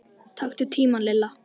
Taktu tímann Lilla!